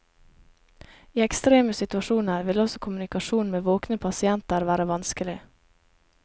I ekstreme situasjoner vil også kommunikasjon med våkne pasienter være vanskelig.